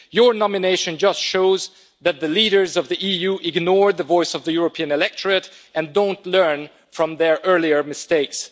Your nomination just shows that the leaders of the EU ignored the voice of the European electorate and don't learn from their earlier mistakes.